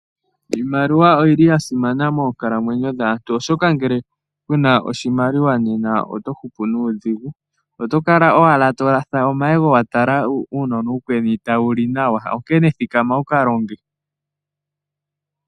Iimaliwa oyi li ya simana moonkalamwenyo dhaantu , oshoka ngele ku na oshimaliwa nena oto hupu nuudhigu. Oto kala owala to latha omayego wa tala uunona uukweni tawu li nawa, onkene thikama wu ka longe.